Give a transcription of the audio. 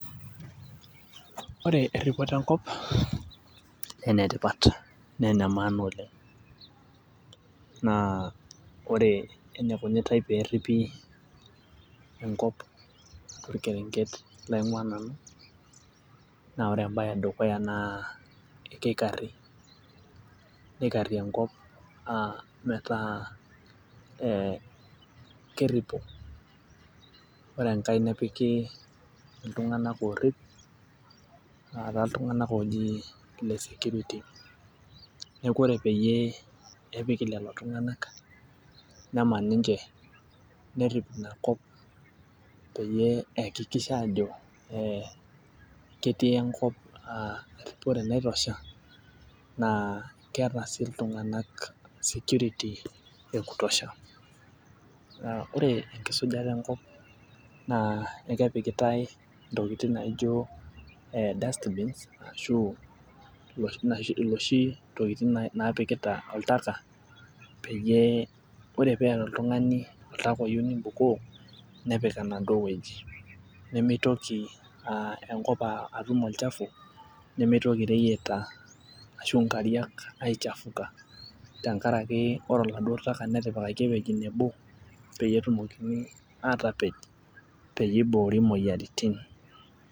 Ore erripoto enkop enetipat naa ene maana oleng' naa ore enikunitae perripi enkop torkereng'et laing'ua nanu naa ore embaye edukuya naa keikarri neikarri enkop uh metaa eh keripo ore enkae nepiki iltung'anak orrip ataa iltung'anak oji ile security neku ore peyie epiki lelo tung'anak neman ninche nerrip inakop peyie eakikisha ajo eh ketii enkop uh eripore naitosha naa keeta sii iltung'anak security e kutosha naa ore enkisujta enkop naa ekepikitae intokitin naijo dustbins ashu iloshi naaji iloshi tokiting napikita oltaka peyie ore peeta oltung'ani oyieu nibukoo nepik enaduo wueji nemeitoki uh enkop aa atum olchafu nemeitoki ireyieta ashu inkariak aichafuka tenkarake ore oladuo taka netipikaki ewueji nebo peyie etumokini atapej peyie eiboori imoyiaritin.